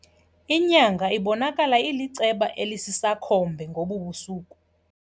Inyanga ibonakala iliceba elisisakhombe ngobu busuku.